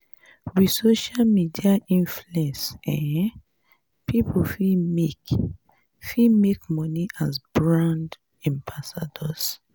with social media influence um pipo fit make fit make money as brand ambassadors